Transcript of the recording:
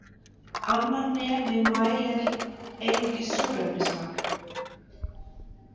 Annar neminn mælir einungis súrefnismagn